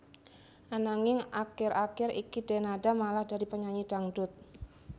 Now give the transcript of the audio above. Ananging akir akir iki Denada malah dadi penyanyi dangdut